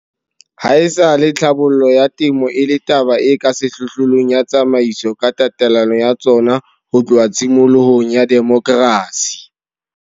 Haesale tlhabollo ya temo e le taba e ka sehlohlolong ya ditsamaiso ka tatelano ya tsona ho tloha tshimolohong ya demokrasi.